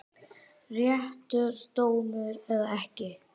Réttur dómur eða ekki?